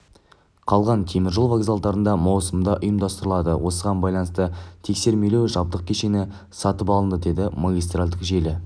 қалған теміржол вокзалдарында маусымда ұйымдастырылады осыған байланысты тексермелеу жабдық кешені сатып алынды деді магистральдік желі